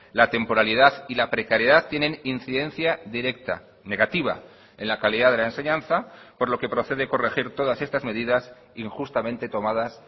la temporalidad y la precariedad tienen incidencia directa negativa en la calidad de la enseñanza por lo que procede corregir todas estas medidas injustamente tomadas